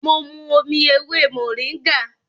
Mo mu omi ewé mòríngà